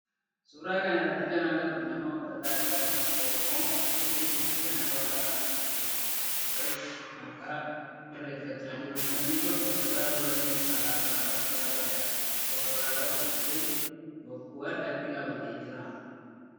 Suuraa kana irratti kan agarru nama uffata aadaa ummata oromoo uffatee ayyaana waaqa galateeffannaa irreecha malkaa irreeffachaa jirudha. Namni kun uffata halluu adii alaabaa abbaa Gadaa of irraa qabu uffatee bokkuu harkattii qabatee jira.